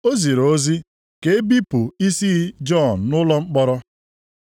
O ziri ozi ka e bipụ isi Jọn nʼụlọ mkpọrọ.